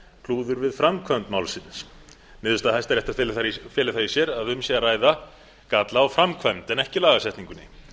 klúður við framkvæmd málsins niðurstaða hæstaréttar felur það í sér að um sé að ræða galla á framkvæmd en ekki lagasetningunni